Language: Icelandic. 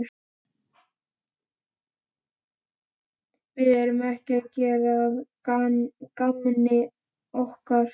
Við erum ekki að gera að gamni okkar.